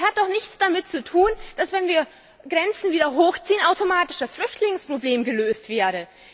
Es hat doch nichts damit zu tun, dass, wenn wir Grenzen wieder hochziehen, automatisch das Flüchtlingsproblem gelöst wäre.